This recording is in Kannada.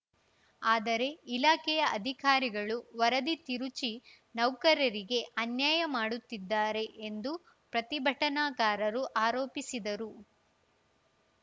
ಆದರೆ ಇಲಾಖೆಯ ಅಧಿಕಾರಿಗಳು ವರದಿ ತಿರುಚಿ ನೌಕರರಿಗೆ ಅನ್ಯಾಯ ಮಾಡುತ್ತಿದ್ದಾರೆ ಎಂದು ಪ್ರತಿಭಟನಾಕಾರರು ಆರೋಪಿಸಿದರು